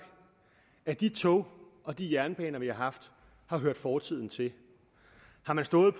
at de tog og de jernbaner vi har haft har hørt fortiden til har man stået